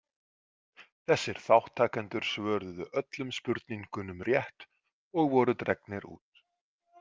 Þessir þátttakendur svöruðu öllum spurningunum rétt og voru dregnir út.